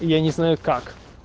я не знаю как